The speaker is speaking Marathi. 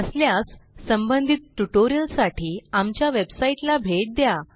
नसल्यास संबंधित ट्युटोरियलसाठी आमच्या वेबसाईटला भेट द्या